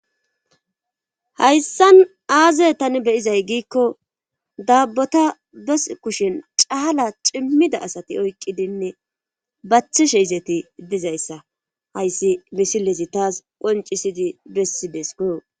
Hayssan aazey tani beyizay giikko daabbota bes kushin caala cimmida asati oykqidinne bathishe izeti dizayssa hayssi misilezi taas qoncisidi bessidesikoo.